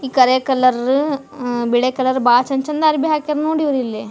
ಕರಿಯ colour ಅಅ ಬಿಳಿಯ colour ಬಾಳ ಚಂದ್ ಚಂದ್ ಅಂಗ್ಡಿಯ ಹಾಕ್ಯಾರ್ ನೋಡಿಲ್ಲಿ.